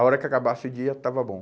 A hora que acabasse o dia, estava bom.